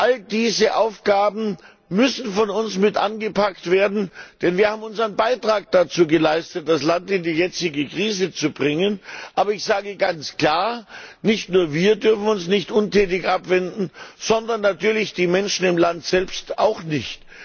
All diese Aufgaben müssen von uns mit angepackt werden, denn wir haben unseren Beitrag dazu geleistet, das Land in die jetzige Krise zu bringen. Aber nicht nur wir dürfen uns nicht untätig abwenden, sondern natürlich die Menschen im Land selbst auch nicht.